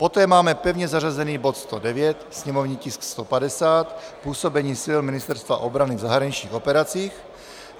Poté máme pevně zařazený bod 109, sněmovní tisk 150, působení sil Ministerstva obrany v zahraničních operacích.